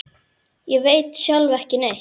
Ég veit sjálf ekki neitt.